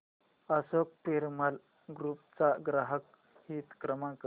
Ashok Piramal group चा ग्राहक हित क्रमांक